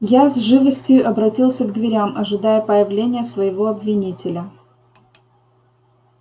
я с живостию обратился к дверям ожидая появления своего обвинителя